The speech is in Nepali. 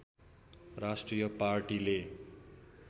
राष्ट्रिय पार्टीले